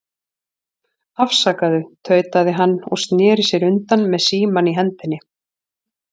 Afsakaðu, tautaði hann og sneri sér undan með símann í hendinni.